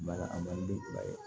Ba a